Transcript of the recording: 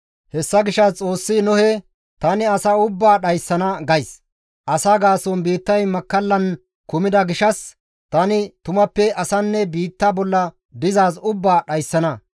Hessa gishshas Xoossi Nohe, «Tani asa ubbaa dhayssana gays; asa gaason biittay makkallan kumida gishshas tani tumappe asanne biitta bolla dizaaz ubbaa dhayssana.